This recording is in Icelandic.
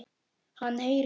Hann heyrir.